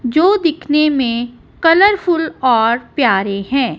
जो दिखने में कलरफुल और प्यारे हैं।